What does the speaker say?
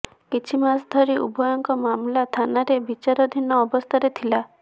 କିଛି ମାସ ଧରି ଉଭୟଙ୍କ ମାମଲା ଥାନାରେ ବିଚାରଧୀନ ଅବସ୍ଥାରେ ଥିଲା